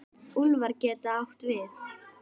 Úlfar getur átt við